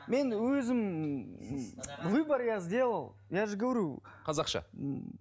мен өзім выбор я сделал я же говорю қазақша